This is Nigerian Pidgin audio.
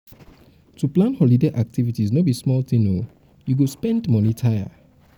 to plan holiday activities no be small tin o you go spend moni tire.